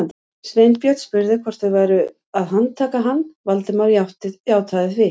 Sveinbjörn spurði hvort þau væru að handtaka hann, Valdimar játaði því.